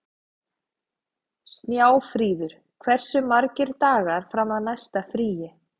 Snjáfríður, hversu margir dagar fram að næsta fríi?